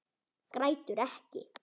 Grætur ekki.